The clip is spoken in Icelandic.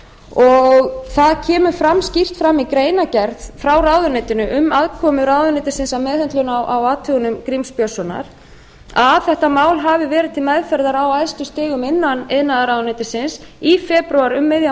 og það kemur skýrt fram í greinargerð frá ráðuneytinu um aðkomu ráðuneytisins að meðhöndlun á athugunum gríms björnssonar að þetta mál hafi verið til meðferðar á æðstu stigum innan iðnaðarráðuneytisins i febrúar um miðjan